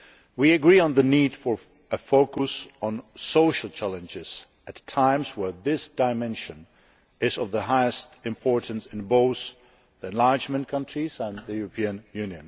We agree on the need for a focus on social challenges' at times when this dimension is of the utmost importance in both the enlargement countries and the EU.